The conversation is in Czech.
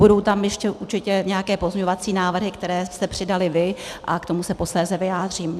Budou tam ještě určitě nějaké pozměňovací návrhy, které jste přidali vy, a k tomu se posléze vyjádřím.